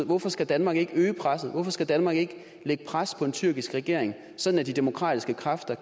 hvorfor skal danmark ikke øge presset hvorfor skal danmark ikke lægge pres på den tyrkiske regering så de demokratiske kræfter